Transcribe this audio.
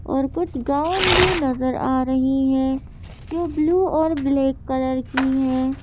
और कुछ गाउन भी नजर आ रही है जो ब्लू और ब्लैक कलर की है।